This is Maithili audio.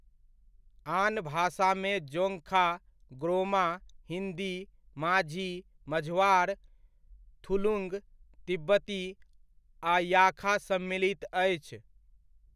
आन भाषामे जोंगखा, ग्रोमा, हिन्दी, माझी, मझवार, थुलुंग, तिब्बती, आ याखा सम्मिलित अछि।